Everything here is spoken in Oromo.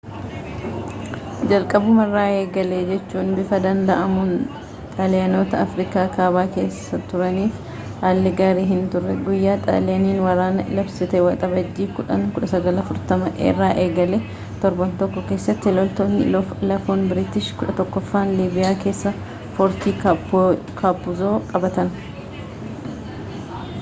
jalqabumarraa eegalee jechuun bifa danda'amuum xaaliyaanota afriikaa kaabaa keessa turaniif haalli gaarii hinturre guyyaa xaaliyaaniin waraana labsite waxabajjii 10 1940 irraa eegalee torban tokko keessatti loltoonni lafoon biriitish 11ffaan liibiyaa keessaa foorti kaappuuzoo qabatan